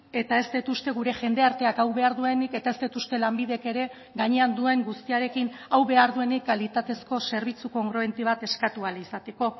eta ez dut uste gure jendarteak hau behar duenik eta ez dut uste lanbidek ere gainean duen guztiarekin hau behar duenik kalitatezko zerbitzu kongruente bat eskatu ahal izateko